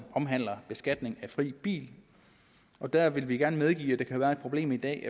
omhandler beskatning af fri bil og der vil vi gerne medgive at det kan være et problem i dag